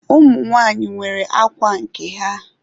Ụmụ nwanyị nwere ákwà nke ha.